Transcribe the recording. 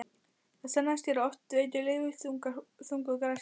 Það sannaðist hér að oft veltir lítil þúfa þungu hlassi.